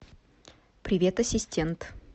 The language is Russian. привет ассистент